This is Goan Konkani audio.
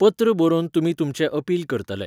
पत्र बरोवन तुमी तुमचें अपील करतले.